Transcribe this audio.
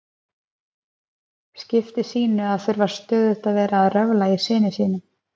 skipti sínu að þurfa stöðugt að vera að röfla í syni sínum.